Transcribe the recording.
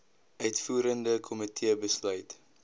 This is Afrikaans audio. uitvoerende komitee besluit